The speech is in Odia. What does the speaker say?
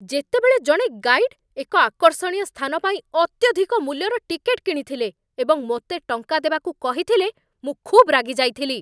ଯେତେବେଳେ ଜଣେ ଗାଇଡ୍ ଏକ ଆକର୍ଷଣୀୟ ସ୍ଥାନ ପାଇଁ ଅତ୍ୟଧିକ ମୂଲ୍ୟର ଟିକେଟ୍ କିଣିଥିଲେ ଏବଂ ମୋତେ ଟଙ୍କା ଦେବାକୁ କହିଥିଲେ, ମୁଁ ଖୁବ୍ ରାଗିଯାଇଥିଲି।